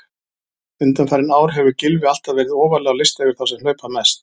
Undanfarin ár hefur Gylfi alltaf verið ofarlega á lista yfir þá sem hlaupa mest.